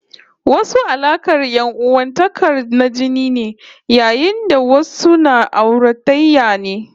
Wasu alaƙar ƴan'uwantakar na jini ne, yayin da wasu na auratayya ne